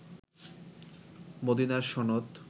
মদিনার সনদ